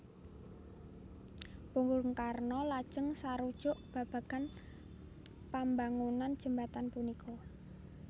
Bung Karno lajeng sarujuk babagan pambangunan Jembatan punika